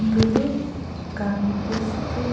దులు కనిపిస్తు.